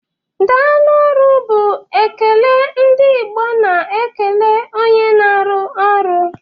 Daalụ ọrụ bụ ekele ndị Igbo na-ekele onye na-arụ ọrụ.